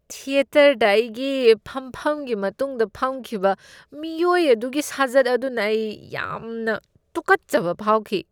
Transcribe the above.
ꯊꯤꯌꯦꯇꯔꯗ ꯑꯩꯒꯤ ꯐꯝꯐꯝꯒꯤ ꯃꯇꯨꯡꯗ ꯐꯝꯈꯤꯕ ꯃꯤꯑꯣꯏ ꯑꯗꯨꯒꯤ ꯁꯥꯖꯠ ꯑꯗꯨꯅ ꯑꯩ ꯌꯥꯝꯅ ꯇꯨꯀꯠꯆꯕ ꯐꯥꯎꯈꯤ꯫